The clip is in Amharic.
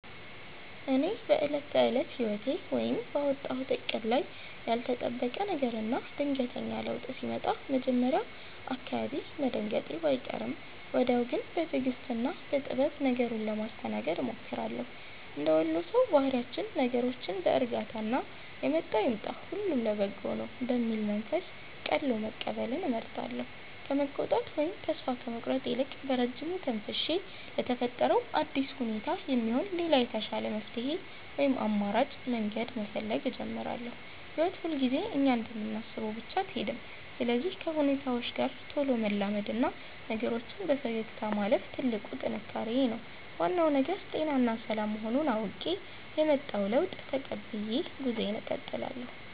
እኔ በዕለት ተዕለት ሕይወቴ ወይም ባወጣሁት ዕቅድ ላይ ያልተጠበቀ ነገርና ድንገተኛ ለውጥ ሲመጣ መጀመሪያ አካባቢ መደናገጤ ባይቀርም፣ ወዲያው ግን በትዕግሥትና በጥበብ ነገሩን ለማስተናገድ እሞክራለሁ። እንደ ወሎ ሰው ባህሪያችን ነገሮችን በዕርጋታና «የመጣው ይምጣ፣ ሁሉ ለበጎ ነው» በሚል መንፈስ ቀልሎ መቀበልን እመርጣለሁ። ከመቆጣት ወይም ተስፋ ከመቁረጥ ይልቅ፣ በረጅሙ ተንፍሼ ለተፈጠረው አዲስ ሁኔታ የሚሆን ሌላ የተሻለ መፍትሔ ወይም አማራጭ መንገድ መፈለግ እጀምራለሁ። ሕይወት ሁልጊዜ እኛ እንደምናስበው ብቻ አትሄድም፤ ስለዚህ ከሁኔታዎች ጋር ቶሎ መላመድና ነገሮችን በፈገግታ ማለፍ ትልቁ ጥንካሬዬ ነው። ዋናው ነገር ጤናና ሰላም መሆኑን አውቄ፣ የመጣውን ለውጥ ተቀብዬ ጉዞዬን እቀጥላለሁ።